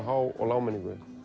há og lágmenningunni